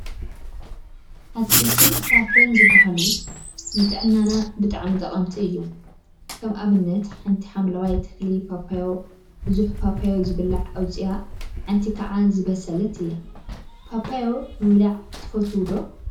አትክልቲን ፍራፍረን ዝበሃሉ ንጥዕናና ብጣዕሚ ጠቀምቲ እዮም፡፡ ከም አብነት ሓንቲ ሓምለዋይ ተክሊ ፓፓዮ ቡዙሕ ፓፓዮ ዝብላዕ አውፂአ ሓንቲ ከዓ ዝበሰለት እያ፡፡ ፓፓዮ ምብላዕ ትፈትው ዶ?